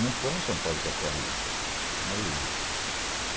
Não só em São Paulo que ocorre isso, a maioria.